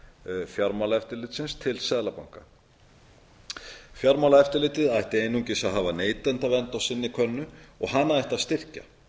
bankaeftirlitshlutverk fjármálaeftirlitsins til seðlabankans fjármálaeftirlitið ætti einungis að hafa neytendavernd á sinni könnu og hana ætti að styrkja